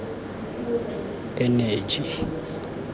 eneji